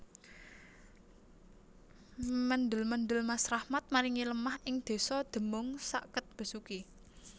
Mendel mendel Mas Rahmat maringi lemah ing desa Demung sakket Besuki